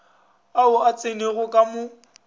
ao a tsenego ka mo